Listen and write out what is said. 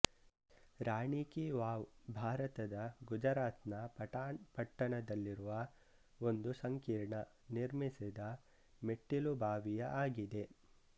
ರಾಣಿ ಕಿ ವಾವ್ ಭಾರತದ ಗುಜರಾತ್ ನ ಪಟಾನ್ ಪಟ್ಟಣದಲ್ಲಿರುವ ಒಂದು ಸಂಕೀರ್ಣ ನಿರ್ಮಿಸಿದ ಮೆಟ್ಟಿಲುಬಾವಿಯ ಆಗಿದೆ